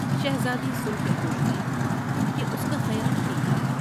شہزادی سن کے خوشی ہوئی کہ اس کا خیال ٹھیک تھا ۔